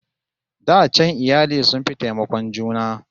Da can iyali sun fi taimakon juna